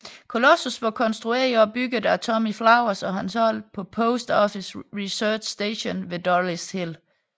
Colossus var konstrueret og bygget af Tommy Flowers og hans hold på Post Office Research Station ved Dollis Hill